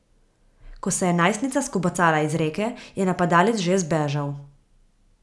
Ko se je najstnica skobacala iz reke, je napadalec že zbežal.